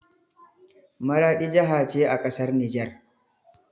Maraɗi jaha ce a ƙasar nijar.